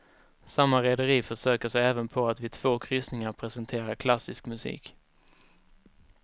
Samma rederi försöker sig även på att vid två kryssningar presentera klassisk musik.